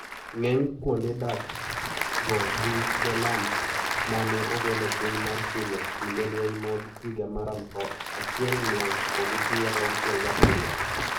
Ng`eny kuonde dak go ni Golan ma ne ogol e piny mar Syria kinde lweny mag higa mar aluf achiel mia ochiko gi pier auchiel gi abiriyo.